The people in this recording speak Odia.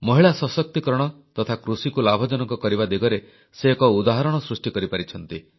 ମହିଳା ସଶକ୍ତିକରଣ ତଥା କୃଷିକୁ ଲାଭଜନକ କରିବା ଦିଗରେ ସେ ଏକ ଉଦାହରଣ ସୃଷ୍ଟି କରିପାରିଛନ୍ତି